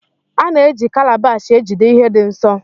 A na eji Kalabash ejide ihe dị nsọ.